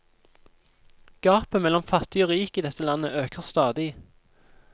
Gapet mellom fattig og rik i dette landet øker stadig.